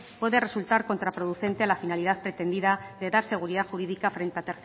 puede resultar contraproducente a la finalidad pretendida de dar seguridad jurídica frente